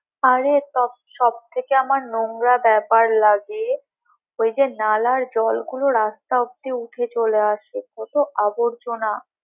আরে সব থেকে আমার নোংরা ব্যাপার লাগে ওই যে নালার জলগুলো রাস্তা অবধি উঠে চলে আসে অতো আবর্জনা।